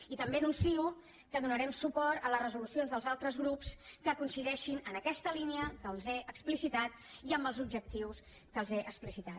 i també anuncio que donarem suport a les resolucions dels altres grups que coincideixin en aquesta línia que els he explicitat i amb els objectius que els he explicitat